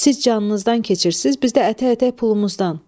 Siz canınızdan keçirsiz, biz də ətək-ətək pulumuzdan.